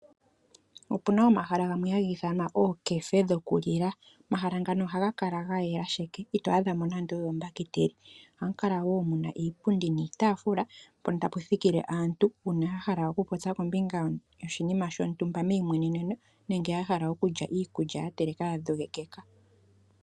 Opu na omahala gamwe haga ithanwa ookefe dhokulila. Omahala ngano ohaga kala ga yela sheke, ito adha mo nando oyo ombakiteli. Ohamu kala wo mu na iipundi niitaafula, mpono tapu thikile aantu uuna ya hala okupopya kombinga yoshinima shontumba meimweneneno nenge ya hala okulya iikulya ya telekwa ya dhogekeka.